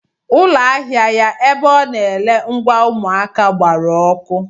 Ụlọ ahịa ya ebe ọ na-ere ngwa ụmụaka gbara ọkụ.